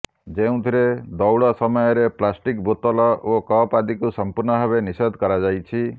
ଯେଉଁଥିରେ ଦୌଡ଼ ସମୟରେ ପ୍ଲାଷ୍ଟିକ ବୋତଲ ଓ କପ୍ ଆଦିକୁ ସମ୍ପୂର୍ଣ୍ଣ ଭାବେ ନିଷେଧ କରାଯାଇଛି